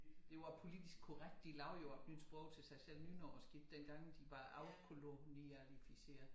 Det var politisk korrekt de lavede jo et nyt sprog til sig selv nynorsk ik dengang de var afkoloniseret